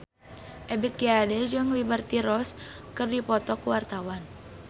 Ebith G. Ade jeung Liberty Ross keur dipoto ku wartawan